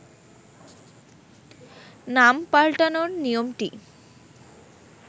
নাম পাল্টানোর নিয়মটি